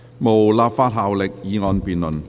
無立法效力的議案辯論。